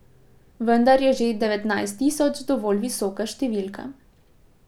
Vendar je že devetnajst tisoč dovolj visoka številka.